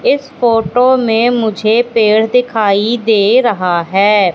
इस फोटो में मुझे पेड़ दिखाई दे रहा है।